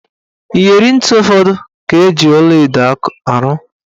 Iyeri ntị ụfọdụ ka eji ọlaedo arụ.